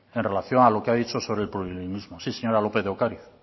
en relación a lo que ha dicho sobre el plurilingüismo sí señora lópez de ocariz